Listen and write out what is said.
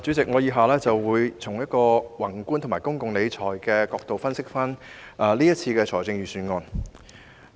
主席，我以下會從宏觀及公共理財的角度分析今年的財政預算案。